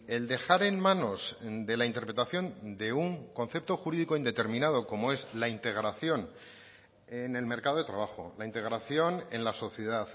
el dejar en manos de la interpretación de un concepto jurídico indeterminado como es la integración en el mercado de trabajo la integración en la sociedad